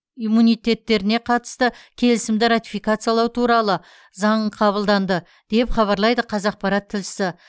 иммунитеттеріне қатысты келісімді ратификациялау туралы заң қабылданды деп хабарлайды қазақпарат тілшісі